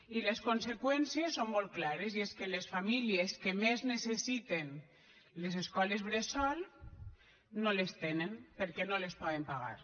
i les conseqüències són molt clares i és que les famílies que més necessiten les escoles bressol no les tenen perquè no les poden pagar